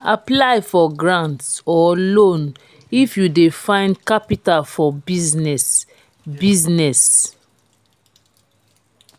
apply for grants or loan if you de find capital for business business